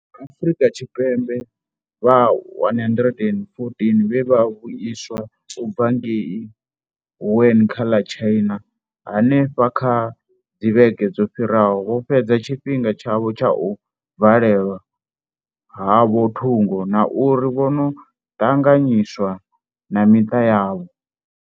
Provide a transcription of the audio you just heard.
MaAfrika Tshipembe vha 114 vhe vha vhuiswa u bva ngei Wuhan kha ḽa China hanefha kha dzivhege dzo fhiraho vho fhedza tshifhinga tshavho tsha u valelwa havho thungo na uri vho no ṱanganyiswa na miṱa yavho.